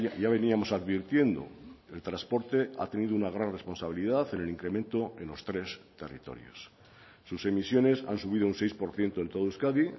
ya veníamos advirtiendo el transporte ha tenido una gran responsabilidad en el incremento en los tres territorios sus emisiones han subido un seis por ciento en todo euskadi